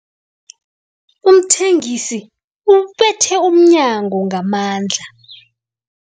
Umthengisi ubethe umnyango ngamandla.